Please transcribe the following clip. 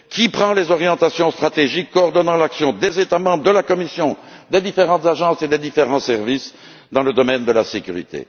Qui détermine les orientations stratégiques coordonnant l'action des États membres, de la Commission, des différentes agences et des différents services dans le domaine de la sécurité?